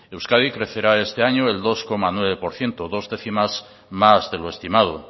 euskadi crecerá este año el dos coma nueve por ciento dos décimas más de lo estimado